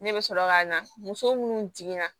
Ne bɛ sɔrɔ ka na muso minnu jiginna